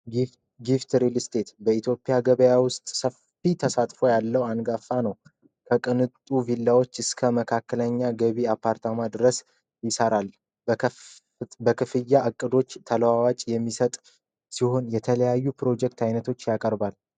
ጊፍት ሪል ስቴት በኢትዮጵያ ገበያ ውስጥ ሰፊ ተሳትፎ ያለው አንጋፋ ነው። ከቅንጡ ቪላዎች እስከ መካከለኛ ገቢ አፓርታማ ድረስ ይሠራል። በክፍያ አቅዶች ተለዋዋጭ የሚሰጥ ሲሆን፤ የተለያዩ ፕሮጀክት አይነቶች ያቀርባል።